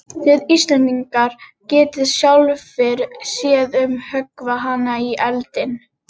Þið Íslendingar getið sjálfir séð um að höggva hana í eldinn.